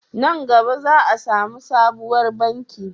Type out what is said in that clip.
Nan gaba za a samu sabuwar banki